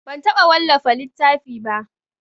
Ban taɓa wallafa littafi ba.